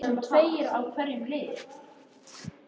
Þeir skiptu ört um doktora á þessum stað.